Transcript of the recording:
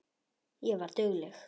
Ég var dugleg.